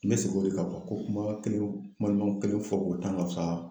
N bɛ segin o de kan ko kuma kelen kuma ɲuman kelen fɔ k'o tan ka fisa